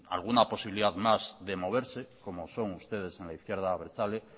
alguna posibilidad más de moverse como son ustedes en la izquierda abertzale